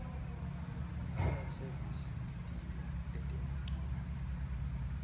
language serviceslitiko letebuciko